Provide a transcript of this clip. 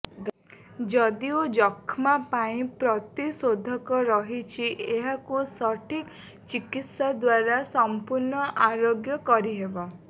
ଯଦିଓ ଯକ୍ଷ୍ମାପାଇଁ ପ୍ରତିଶୋଧକ ରହିଛି ଏହାକୁ ସଠିକ ଚିକିତ୍ସାଦ୍ୱାରା ସଂପୂର୍ଣ୍ଣ ଆରୋଗ୍ୟ କରିହେବ